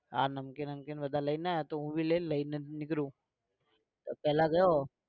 આ નમકીન નમકીન બધા લઈને આવ્યા હું भी લઇને જ નીકળું તો પહેલા ગયો.